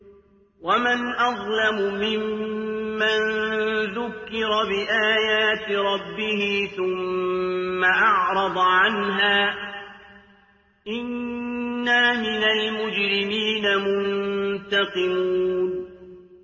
وَمَنْ أَظْلَمُ مِمَّن ذُكِّرَ بِآيَاتِ رَبِّهِ ثُمَّ أَعْرَضَ عَنْهَا ۚ إِنَّا مِنَ الْمُجْرِمِينَ مُنتَقِمُونَ